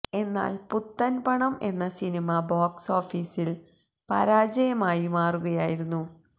എന്നാല് പുത്തന് പണം എന്ന സിനിമ ബോക്സ് ഓഫീസില് പരാജയമായി മാറുകയായിരുന്നു